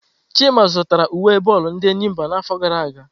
Chima zụtara uwe bọọlụ ndi Enyimba n'afọ gara aga.